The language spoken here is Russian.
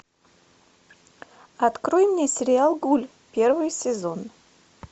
открой мне сериал гуль первый сезон